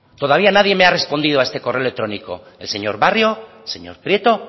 todavía nadie me ha respondido a este correo electrónico el señor barrio señor prieto